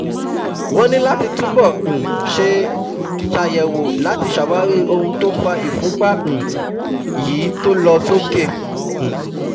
Wọ́n ní láti túbọ̀ um ṣe ṣàyẹ̀wò láti ṣàwárí ohun tó fa ìfúnpa um yí to lọ sókè um